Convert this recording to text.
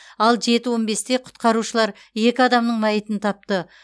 ал жеті он бесте құтқарушылар екі адамның мәйітін тапты